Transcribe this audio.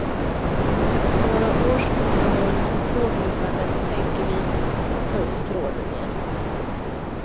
Efter några års uppehåll i tågluffandet tänker vi ta upp tråden igen.